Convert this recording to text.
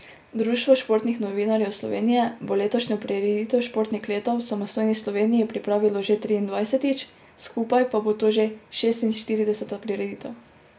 Društvo športnih novinarjev Slovenije bo letošnjo prireditev Športnik leta v samostojni Sloveniji pripravilo že triindvajsetič, skupaj pa bo to že šestinštirideseta prireditev.